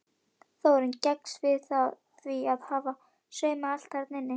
Þórunn gengst við því að hafa saumað allt þarna inni.